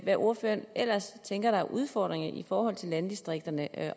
hvad ordføreren ellers tænker der er af udfordringer i forhold til landdistrikterne